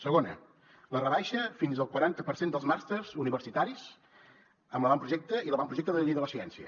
segona la rebaixa fins al quaranta per cent dels màsters universitaris amb l’avantprojecte i l’avantprojecte de llei de la ciència